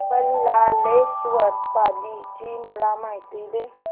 बल्लाळेश्वर पाली ची मला माहिती दे